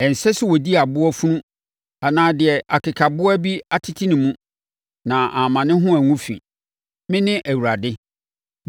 Ɛnsɛ sɛ ɔdi aboa funu anaa deɛ akekaboa bi atete ne mu, na amma ne ho angu fi. Mene Awurade.